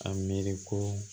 A miiri ko